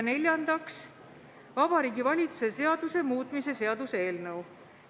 Neljandaks, Vabariigi Valitsuse seaduse muutmise seaduse eelnõu.